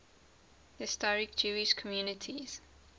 historic jewish communities